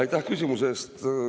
Aitäh küsimuse eest!